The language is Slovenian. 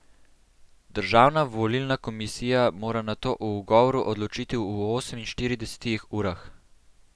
Državna volilna komisija mora nato o ugovoru odločiti v oseminštiridesetih urah.